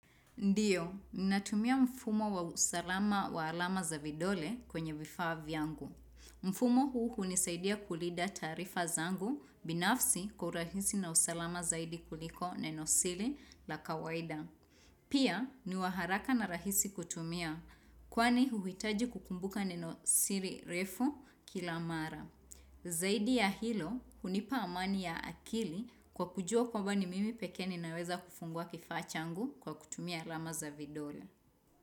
Ndiyo, ninatumia mfumo wa usalama wa alama za vidole kwenye vifaa vyangu. Mfumo huu hunisaidia kulinda taarifa zangu binafsi kwa urahisi na usalama zaidi kuliko neno siri la kawaida. Pia, niwa haraka na rahisi kutumia kwani huhitaji kukumbuka neno siri refu kila mara. Zaidi ya hilo hunipa amani ya akili kwa kujua kwamba ni mimi pekee ninaweza kufungua kifaa changu kwa kutumia alama za vidole.